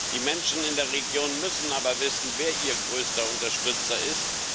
Die Menschen in der Region müssen aber wissen, wer ihr größter Unterstützer ist.